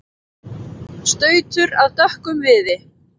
stautur af dökkum viði